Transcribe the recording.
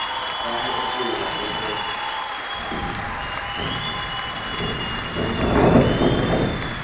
sa ho epolla le ho